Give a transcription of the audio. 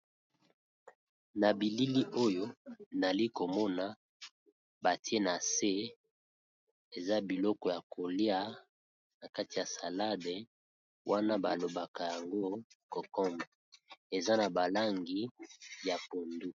Na bilili oyo nayali komona batie na se eza biloko ya kolia na kati ya salade wana ba lobaka yango kokombre eza na ba langi ya pondu.